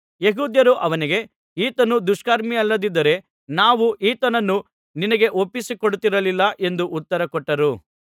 ಯೆಹೂದ್ಯರು ಅವನಿಗೆ ಈತನು ದುಷ್ಕರ್ಮಿಯಲ್ಲದಿದ್ದರೆ ನಾವು ಈತನನ್ನು ನಿನಗೆ ಒಪ್ಪಿಸಿ ಕೊಡುತ್ತಿರಲಿಲ್ಲ ಎಂದು ಉತ್ತರಕೊಟ್ಟರು